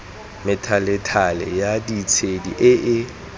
methalethale ya ditshedi e e